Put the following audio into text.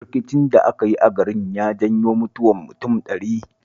Rikicin da aka yi a garin ya janyo mutuwar mutum ɗari